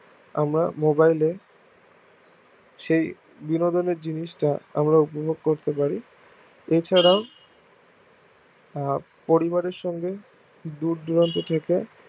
আমরা mobile এ সেই বিনোদনের জিনিস তা আমরা উপভোগ করতে পারি এছাড়াও আহ পরিবারের সঙ্গে দূর দূরান্ত থেকে